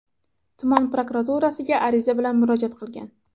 tuman prokuraturasiga ariza bilan murojaat qilgan.